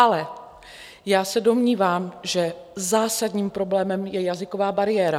Ale já se domnívám, že zásadním problémem je jazyková bariéra.